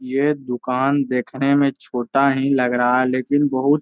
ये दुकान देखने में छोटा ही लग रहा है लेकिन बहोत --